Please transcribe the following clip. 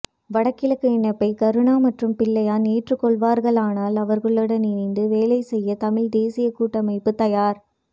வடகிழக்கு இணைப்பை கருணா மற்றும் பிள்ளையான் ஏற்றுக்கொள்வார்களானால் அவர்களுடன் இணைந்து வேலை செய்ய தமிழ் தேசிய கூட்டமைப்பு தயார்